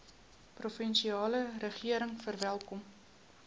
provinsiale regering verwelkom